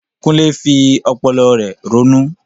Kunle fi ọpọlọ rẹ̀ ronú.